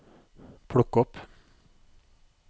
plukk opp